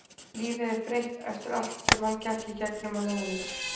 Lífið er breytt eftir allt sem hann gekk í gegnum á leiðinni.